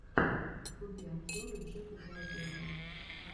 вруби обзоры джека белозерова